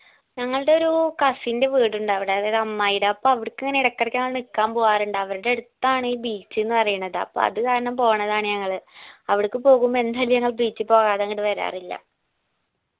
ഞങ്ങൾടെ ഒരു cousin ൻറെ വീട് ഇണ്ടവിടെ അതായത് അമ്മായിടെ അപ്പൊ അവിടക്ക് ഇങ്ങനെ എടക്കെടക്കെ മ്മള് നിക്കാൻ പോവാറുണ്ട് അവരുടെ അടുത്താണ് ഈ beach ണ് പറയണത് അപ്പൊ അത് കാരണം പോണതാണ് ഞങ്ങൾ അവിടക്ക് പോകുമ്പോ എന്തായാലും ഞങ്ങൾ beach പോവാതെ ഇങ്ങട് വരാറില്ല